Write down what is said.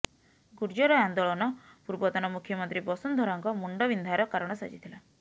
ଗୁର୍ଜର ଆନ୍ଦୋଳନ ପୂର୍ବତନ ମୁଖ୍ୟମନ୍ତ୍ରୀ ବସୁନ୍ଧରାଙ୍କ ମୁଣ୍ଡବିନ୍ଧାର କାରଣ ସାଜିଥିଲା